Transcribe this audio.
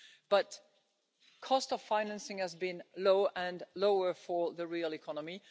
But the cost of financing has been low and lower for the real economy.